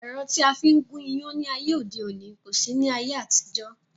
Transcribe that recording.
Ẹ̀rọ tí a fi ń gún iyán ní ayé òde òní kò sí ní ayé àtijọ́